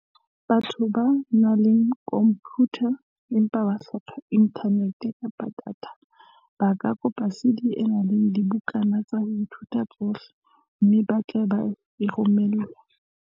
Batho ba nang le khompiyutha empa ba hloka inthanete kapa data, ba ka kopa CD e nang le dibukana tsa ho ithuta tsohle, mme ba tle e romellwa.